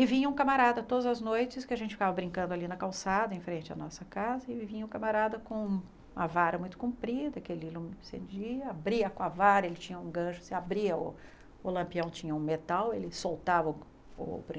E vinha um camarada todas as noites, que a gente ficava brincando ali na calçada, em frente à nossa casa, e vinha um camarada com uma vara muito comprida, que ele não, abria com a vara, ele tinha um gancho, se abria, o lampião tinha um metal, ele soltava o